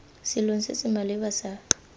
selong se se maleba sa